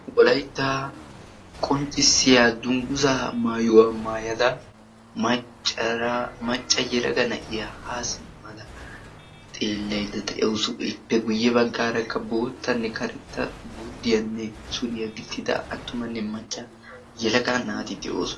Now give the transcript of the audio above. Wolaittaa qonccissiya dungguza maayuwaa maayada macca yalaga na7iya haa simmada xeellaidda de7awusu. ippe guyye baggaarakka boottanne karetta guddiyaanne suriyaa gixxida attumanne macca yalaga naati de7oosona.